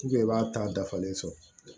i b'a ta dafalen sɔrɔ